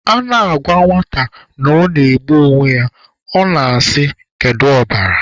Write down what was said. A na-agwa nwata na ọ na-egbu onwe ya, ọ na-asị kedu ọbara?